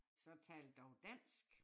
Så tal dog dansk